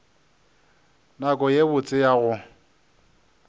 nako ye botse ya go